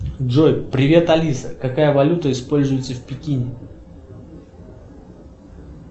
джой привет алиса какая валюта используется в пекине